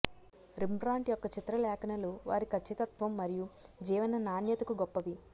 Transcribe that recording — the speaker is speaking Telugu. రిమ్బ్రాన్ట్ యొక్క చిత్రలేఖనాలు వారి ఖచ్చితత్వం మరియు జీవన నాణ్యతకు గొప్పవి